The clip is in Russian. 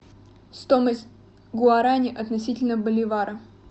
стоимость гуарани относительно боливара